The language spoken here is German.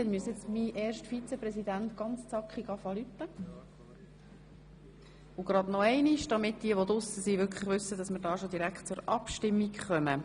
Jetzt müsste mein erster Vizepräsident ganz zackig den Gong betätigen, damit diejenigen, die sich in der Wandelhalle befinden, wissen, dass wir bereits zur Abstimmung gelangen.